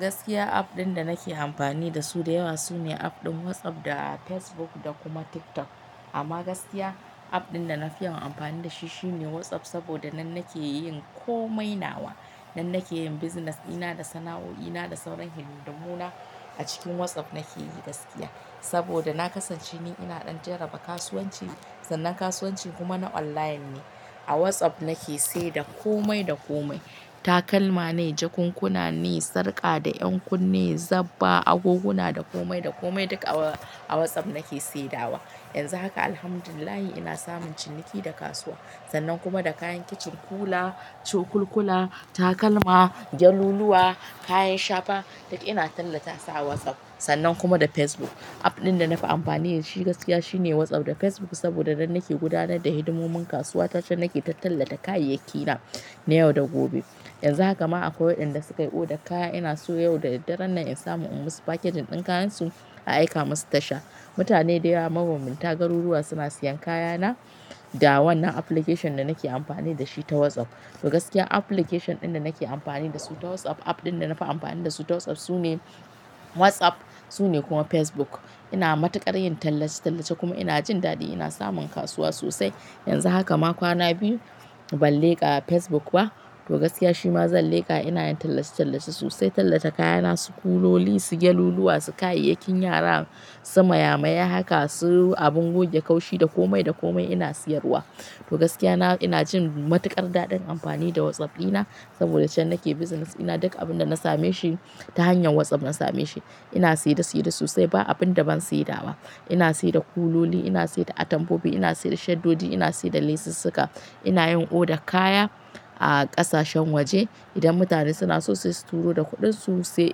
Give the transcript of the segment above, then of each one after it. Gaskiya app ɗin da nake amfani da su da yawa sune app ɗin WhatsApp da Facebook da kuma TikTok. Amma gaskiya app ɗin da na fi yi amfani da shi shine WhatsApp saboda nan nake yin komai. Nawa nan nake yin business ina da sana'o'i na da sauran hidindimuna a cikin WhatsApp nake yi gaskiya. Saboda na kasance ni ina ɗan jaraba kasuwanci, sannan kasuwanci kuma na online ne. A WhatsApp nake sai da komai da komai. Takalma ne, jakunkuna ne, sarƙa da ƴankunne, zabba, agoguna, da komai da komai duk a WhatsApp nake saidawa. Yanzu haka Alhamdulillah ina samun ciniki da kasuwa. Sannan kuma da kayan kicin, kula, cukulkula, takalma, gyaluluwa, kayan shafa, duk ina tallata su a WhatsApp. Sannan kuma da Facebook app ɗin da na fi amfani da shi gaskiya shine WhatsApp da Facebook saboda da nan nake gudanar da hidimomin kasuwa ta cewa nake tallata kayayyaki na, na yau da gobe. Yanzu haka ma akwai waɗanda suka yi oda kaya. Ina so yau da daren nan in samu in musu package ɗin kayansu a aika musu tasha. Mutane da yawa, mabambanta, garuruwa suna siyan kayana da wannan application da nake amfani da shi ta WhatsApp. To gaskiya application ɗin da nake amfani da su ta WhatsApp app ɗin da na fi amfani da su ta WhatsApp sune WhatsApp sune kuma Facebook. Ina matuƙar yin tallace-tallace kuma ina jin daɗi. Ina samun kasuwa sosai. Yanzu haka ma kwana biyu ban leƙa Facebook ba. To gaskiya shi ma zan leƙa. Ina yin tallace-tallace sosai. Tallata kayana, sikuloli, sigeluluwa, sikayayakin yara, simayamaya, haka su abin goge kaushi, da komai da komai ina siyarwa. To gaskiya na, ina jin matuƙar daɗin amfani da WhatsApp ina saboda can nake business ina. Duk abin da na same shi ta hanyar WhatsApp na same shi. Ina saide saide sosai. Ba abin da ban saida wa. Ina saida kuloli, ina saida atamfofi, ina saida shaddodi, ina saida lesussuka. Ina yin oda kaya a ƙasashen waje. Idan mutane suna so sai su turo da kudinsu sai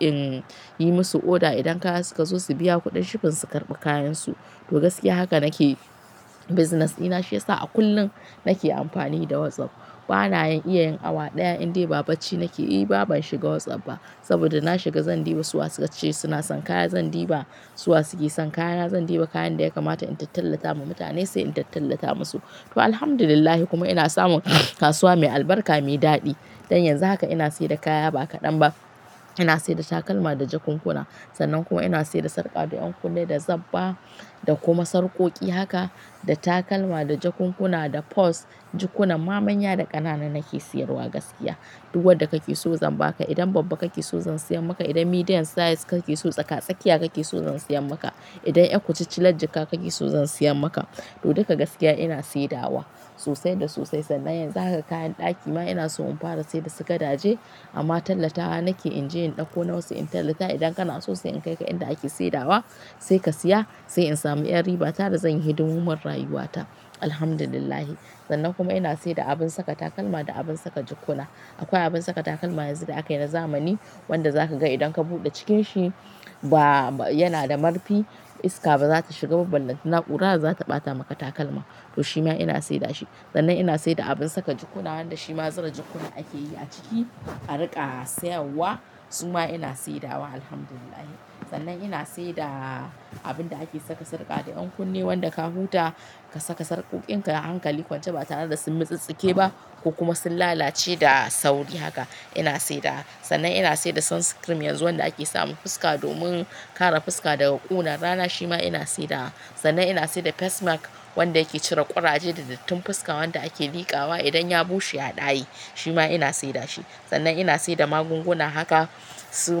inyi masu order idan kaya suka zo su biya kuɗin shifin su karɓi kayansu. To gaskiya haka nake business ina shi yasa a kullum nake amfani da WhatsApp. Bana iya yin awa ɗaya in dai ba bacci nake yi ba ban shiga WhatsApp ba. Saboda na shiga zan ɗiba su wa su kace suna son kaya. Zan ɗiba su wa suke son kayana. Zan ɗiba kayan da ya kamata in tattallata wa mutane sai in tattallata musu. To Alhamdulillah kuma ina samun kasuwa mai albarka, mai daɗi. Don yanzu haka ina sayar da kaya ba kaɗan ba. Ina sayar da takalma da jakunkuna. Sannan kuma ina saida sarka da yan kunne da zabba da kuma sarkoki. Haka da takalma, da jakunkuna, da pose jukunan manya da ƙanana nake siyarwa gaskiya. Duk wadda kake so zan ba ka. Idan babba kake so zan siyan maka. Idan medium size kake so tsaka-tsakiya kake so zan siyan maka. Idan ƴan kutcicle jakka kake so zan siyan maka. To duka gaskiya ina sai dawa sosai da sosai. Sannan yanzu haka kayan ɗaki ma ina so in fara sayar da su ka daje amma tallatawa nake in je in ɗauko na wasu in tallata. Idan kana so sai in kaika inda ake saidawa sai ka siya sai in sami ƴan riba ta da zan yi hidimomin rayuwata. Alhamdulillah. Sannan kuma ina saida da abin saka takalma da abin saka jukuna. Akwai abin saka takalma yanzu da aka yi na zamani wanda zaka ga idan ka buɗe cikin shi ba yana da marfi. Iska ba zata shiga ba ballantana kura zata bata maka takalma to shi ma ina sayar da shi. Sannan ina saida abin saka jukuna wanda shi ma zura jukuna ake yi a ciki a riƙa sayarwa. Su ma ina saidawa Alhamdulillah. Sannan ina saida abin da ake saka sarƙa da, ƴankunne, wanda ka huta ka saka sarƙoƙin ka hankali kwance ba tare da sun mutsi tsike ba ko kuma sun lalace da sauri haka ina saidawa. Sannan ina saida sun scream yanzu wanda ake sa ma fuska domin kare fuska daga ƙunar rana. Shi ma ina saidawa. Sannan ina saida face mark wanda yake cire ƙuraje da dattin fuska wanda ake likawa idan ya bushe ya daye. Shi ma ina saida shi. Sannan ina sayar da magunguna. Haka su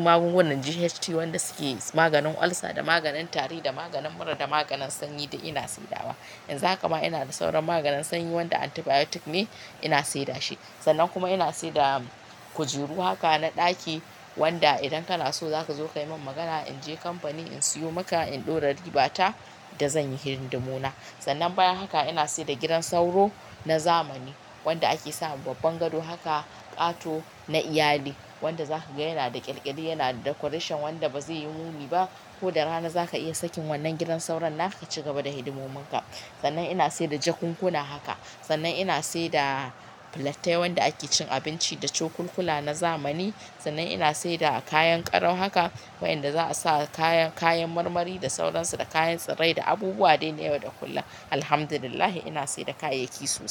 magungunan GHT wanda suke maganin olsa da maganin tari da maganin mura da maganin sanyi duk ina saidawa. Yanzu haka ma ina da sauran maganin sanyi wanda antibiotic ne ina sayar da shi. Sannan kuma ina saida kujeru haka na ɗaki wanda idan kana so zaka zo ka yi min magana in je kamfani in siyo maka in ɗora riba ta da zan yi hidindimuna. Sannan bayan haka ina saida gidan sauro na zamani wanda ake sama babban gado. Haka ƙato na iyali wanda zaka ga yana da ƙyalƙyali, yana da decoration wanda ba zai yi muni ba. Ko da rana zaka iya sakin wannan gidan sauron haka ki ci gaba da hidimomin ka. Sannan ina sayar da jakunkuna haka. Sannan ina saida pilattai wanda ake cin abinci da cokulkula na zamani. Sannan ina saida kayan ƙaro haka wayanda za a sa kayan, kayan marmari da sauransu, da kayan tsirrai, da abubuwa dai na yau da kullum. Alhamdulillah ina sai da kayayyaki su.